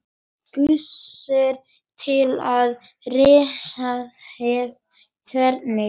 Gissur: Til að ráðstafa hvernig?